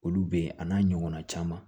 Olu be yen a n'a ɲɔgɔnna caman